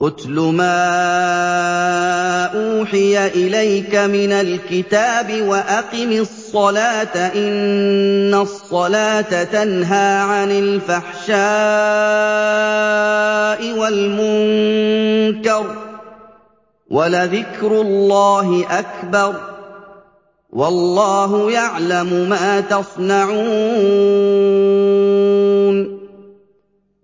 اتْلُ مَا أُوحِيَ إِلَيْكَ مِنَ الْكِتَابِ وَأَقِمِ الصَّلَاةَ ۖ إِنَّ الصَّلَاةَ تَنْهَىٰ عَنِ الْفَحْشَاءِ وَالْمُنكَرِ ۗ وَلَذِكْرُ اللَّهِ أَكْبَرُ ۗ وَاللَّهُ يَعْلَمُ مَا تَصْنَعُونَ